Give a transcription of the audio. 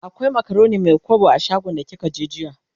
akwai macaroni Mai kwabo a shagon da kika je jiya?